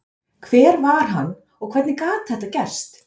Hver var hann og hvernig gat þetta gerst?